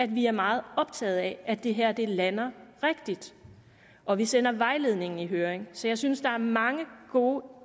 vi er meget optaget af at det her lander rigtigt og vi sender vejledningen i høring så jeg synes at der er mange gode